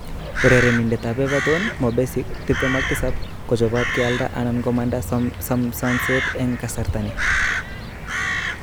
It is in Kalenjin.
(ESPN) Urerenindet ab Everton Mo Besic, 27, kochobot kealda anan komanda someset eng kasarta ni.